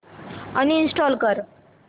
uninstall कर